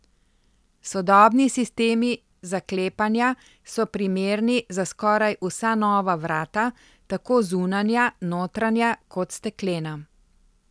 Sodobni sistemi zaklepanja so primerni za skoraj vsa nova vrata, tako zunanja, notranja kot steklena.